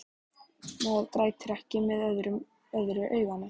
Maður grætur ekki með öðru auganu.